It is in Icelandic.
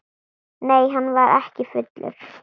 Nei, hann var ekki fullur.